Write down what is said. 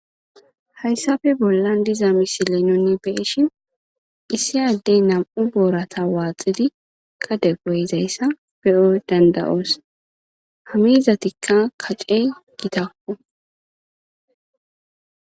Haysafe bollan diza misilen de'eishn issi nam'u borata waxidi gade goyizaysa beyo danda'os ha mitatika kachey gitako